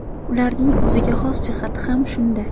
Ularning o‘ziga xos jihati ham shunda.